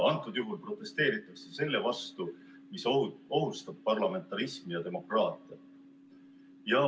Praegusel juhul protesteeritakse selle vastu, mis ohustab parlamentarismi ja demokraatiat.